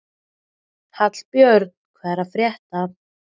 Hallbjörn, hvað er að frétta?